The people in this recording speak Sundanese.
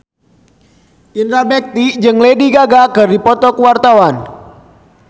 Indra Bekti jeung Lady Gaga keur dipoto ku wartawan